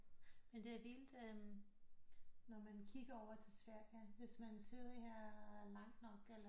Men det er vildt når man kigger over til Sverige hvis man sidder her langt nok eller